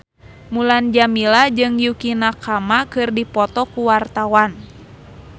Mulan Jameela jeung Yukie Nakama keur dipoto ku wartawan